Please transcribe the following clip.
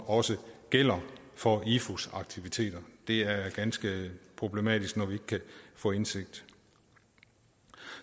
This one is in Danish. også gælder for ifus aktiviteter det er ganske problematisk når vi ikke kan få indsigt